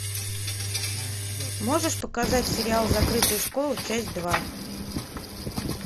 можешь показать сериал закрытая школа часть два